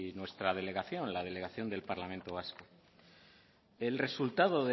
nuestra delegación la delegación del parlamento vasco el resultado